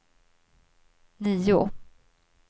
nio